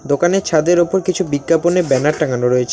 দোকানে ছাদের ওপর কিছু বিজ্ঞাপনে ব্যানার টাঙানো রয়েছে।